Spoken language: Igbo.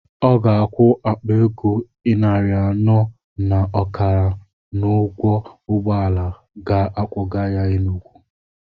Ọ ga-akwụ akpa ego ịnarị anọ na ọkala n'ụgwọ ụgbọala ga akwọga ya Enugwu.